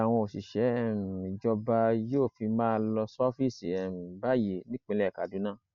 ọjọ mẹrin làwọn òṣìṣẹ um ìjọba yóò fi máa lọ ṣọọfíìsì um báyìí nípìnlẹ kaduna